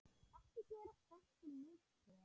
Ekki gera þessi mistök.